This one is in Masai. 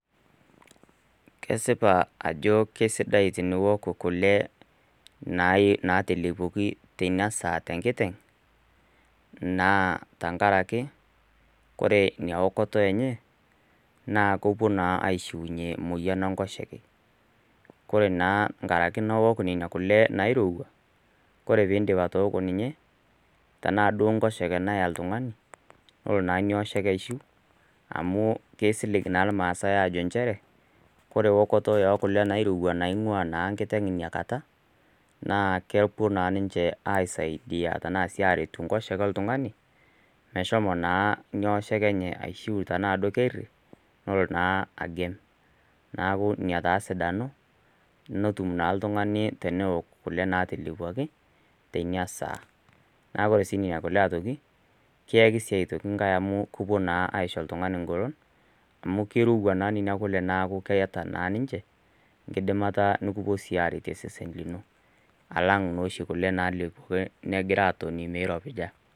Kesipa ajo kesidai teniok kule natalepuoki tteina saa, tenkiteng' naa tenkaraki, ore ina okoto enye, naa kepuo naa aishunye emoyian enkoshoke. Kore naa enkaraki iok naa nena kule nairouwa, kore pee idip atooko ninye, tanaa duo enkoshoke naya olttung'ani, nelo naa ina oshoke aishu amu keisilig naa ilmaasai nchere, ore eokoto oo kule nairouwa naing'uaa naa enkiteng' ina kata, naa kepuo sii ninche aisaidia anaa enaret ekoshoke oltung'ani, meshomo naa ina oshoke enye aishu tanaa duo keria nelo naa agem. Neaku ina taa esidano natum naa oltung'ani teneok kule naatelepuoki, teina saa. Naa ore sii nena kule aitoki, kiaki naa asioki enkai amu kepuoi naa ayaki oltunng'ani oltung'ani eng'olon, amu keirouwa naa kuna kule , neaku keata naa ninche, enkidimata nekipuo sii arettie osesen lino, alang' naa oshi kule naagira alepu netoni meiropija.